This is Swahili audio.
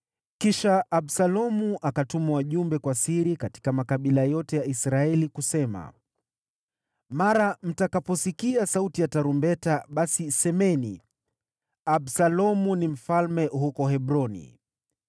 Kisha Absalomu akatuma wajumbe kwa siri katika makabila yote ya Israeli, kusema, “Mara mtakaposikia sauti ya tarumbeta basi semeni, ‘Absalomu ni mfalme huko Hebroni.’ ”